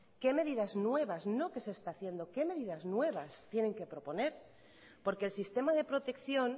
qué medidas nuevas no qué se está haciendo qué medidas nuevas tienen que proponer porque el sistema de protección